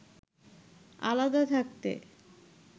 আলাদা থাকতে